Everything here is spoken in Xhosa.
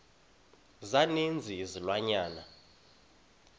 za ninzi izilwanyana